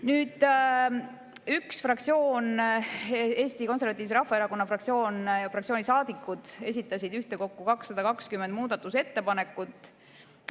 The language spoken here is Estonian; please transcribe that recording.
Nüüd, üks fraktsioon, Eesti Konservatiivse Rahvaerakonna fraktsioon, selle fraktsiooni saadikud esitasid ühtekokku 220 muudatusettepanekut.